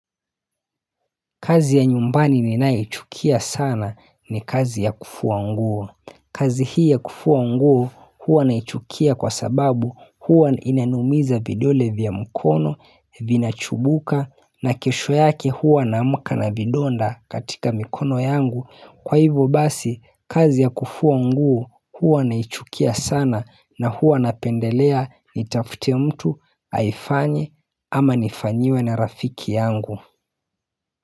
Kazi ya nyumbani ninayoichukia sana ni kazi ya kufua nguo. Kazi hii ya kufua nguo huwa naichukia kwa sababu huwa inanumiza vidole vya mkono, vinachubuka na kesho yake huwa naamuka na vidonda katika mkono yangu. Kwa hivyo basi kazi ya kufua nguo huwa naichukia sana na huwa napendelea nitafute mtu aifanye ama nifanyiwe na rafiki yangu.